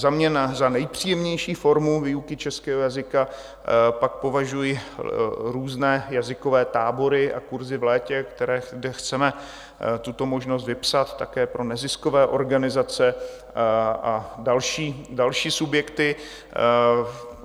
Za mě za nejpříjemnější formu výuky českého jazyka pak považuji různé jazykové tábory a kurzy v létě, kde chceme tuto možnost vypsat také pro neziskové organizace a další subjekty.